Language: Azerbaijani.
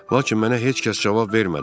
Lakin mənə heç kəs cavab vermədi.